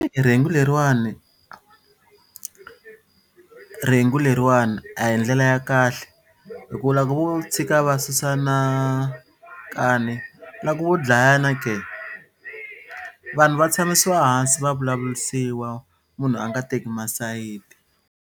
Rhengu leriwani rhengu leriwani a hi ndlela ya kahle hi ku lava vo tshika va susana nkani loko vo dlayana ke vanhu va tshamisiwa hansi va vulavurisiwa munhu a nga teki masayiti.